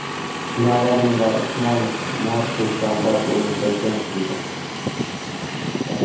Navalniy va Usmonov Mortal Kombat o‘yinida jang qildi .